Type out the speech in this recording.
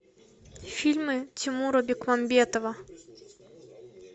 фильмы тимура бекмамбетова